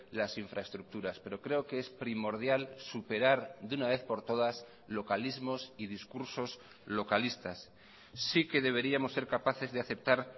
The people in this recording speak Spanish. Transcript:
las infraestructuras pero creo que es primordial superar de una vez por todas localismos y discursos localistas sí que deberíamos ser capaces de aceptar